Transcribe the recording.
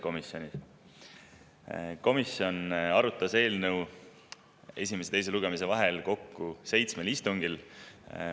Komisjon arutas eelnõu esimese ja teise lugemise vahel kokku seitsmel istungil.